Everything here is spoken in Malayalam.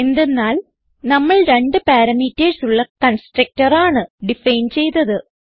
എന്തെന്നാൽ നമ്മൾ രണ്ട് പാരാമീറ്റർസ് ഉള്ള കൺസ്ട്രക്ടർ ആണ് ഡിഫൈൻ ചെയ്തത്